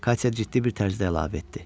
Katya ciddi bir tərzdə əlavə etdi.